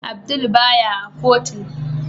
Abdul baya a kotun.